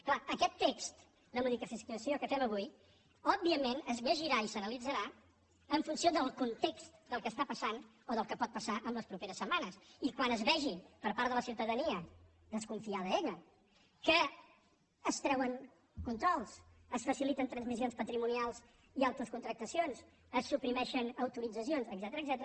és clar aquest text de modificació que fem avui òbviament es llegirà i s’analitzarà en funció del context del que passa o del que pot passar en les pro·peres setmanes i quan la ciutadania desconfiada ella vegi que es treuen controls es faciliten transmissions patrimonials i autocontractacions se suprimeixen au·toritzacions etcètera